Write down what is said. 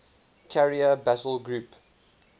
carrier battle group